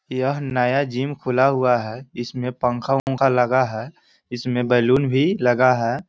यह नया ज़िम खुला हुआ है इसमें पंखा ओंखा लगा है | इसमें बेलून भी लगा है|